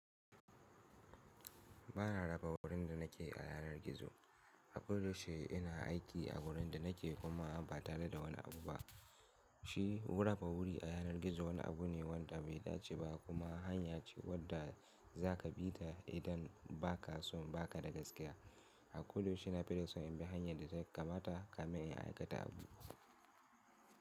Ba na raba wurin da na ke a yanar gizo. A koda yaushe ina aiki a wurin da na ke kuma ba tare da wani abu ba. Shi wurafa wuri a yanar gizo wani abu ne wanda bai dace ba kuma hanya ce wadda za ka bi ta idan ba ka so ba ka da gaskiya. A koda yaushe na fi da son in bi hanya da ta kamata ka min in aikata abu.